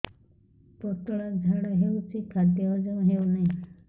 ପତଳା ଝାଡା ହେଉଛି ଖାଦ୍ୟ ହଜମ ହେଉନାହିଁ